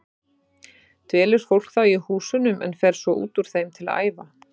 Dvelur fólk þá í húsunum en fer svo út úr þeim til að æfa.